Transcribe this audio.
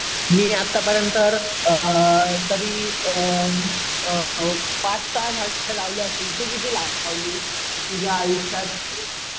मी आतापर्यंत अम तरी अम पाच सहा झाडे लावली असतील. तू किती झाडे लावली तुझ्या आयुष्यात ?